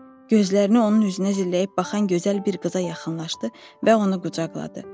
Gözlərini onun üzünə zilləyib baxan gözəl bir qıza yaxınlaşdı və onu qucaqladı.